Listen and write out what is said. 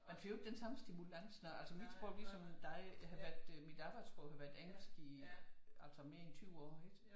Man får jo ikke den samme stimulans når altså mit sprog ligesom dig min datters sprog har været engelsk i altså mere end 20 år ikke